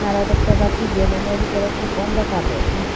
আমরা দেখতে পারছি যে রুমের ভিতরে খুব অন্ধকার রয়েছে।